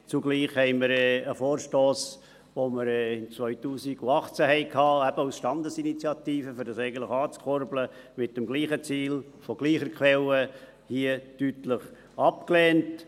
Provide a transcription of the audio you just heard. Zugleich lehnten wir einen Vorstoss, den wir im Jahr 2018 hatten – eben als Standesinitiative, um dies eigentlich anzukurbeln –, mit dem gleichen Ziel aus gleicher Quelle hier im Grossen Rat deutlich ab.